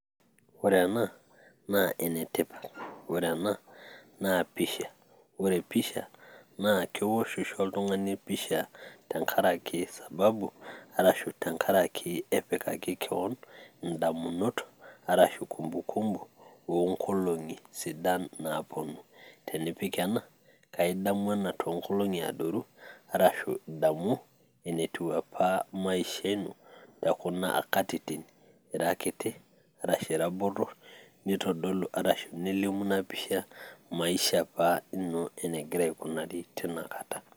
ore ena naa enetipat, ore ena na pisha, ore pisha naa keosh oshi oltungani pisha tenkaraki sababu arashu tenkaraki epikai kewon idamunot arashu kumbukumbu oo nkolong'i sidan naapuonu. tenipik enaa naa idamu ena too nkolong'i adoru arashu idamu enetiu apa maisha ino ekuna katitin ,ira kiti arashu ira botor, nitodolu. nelimu ina pisha maisha apa ino enegira aikunari tena kata.